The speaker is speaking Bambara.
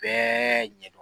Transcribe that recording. Bɛɛ